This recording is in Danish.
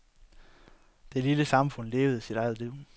Det lille samfund levede sit eget liv.